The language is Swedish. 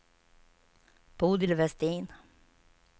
Bodil Vestin